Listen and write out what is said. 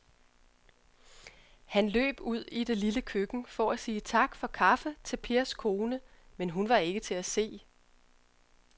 Han løb ud i det lille køkken for at sige tak for kaffe til Pers kone, men hun var ikke til at se.